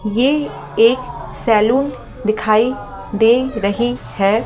ये एक सैलून दिखाई दे रही है।